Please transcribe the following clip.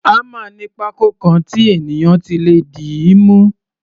Hámà ní pákó kan tí ènìyàn ti lè dìímú.